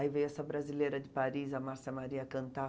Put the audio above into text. Aí veio essa brasileira de Paris, a Márcia Maria, cantar.